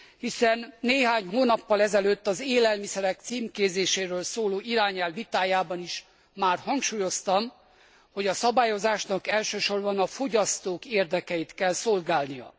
Hiszen néhány hónappal ezelőtt az élelmiszerek címkézéséről szóló irányelv vitájában is már hangsúlyoztam, hogy a szabályozásnak elsősorban a fogyasztók érdekeit kell szolgálnia.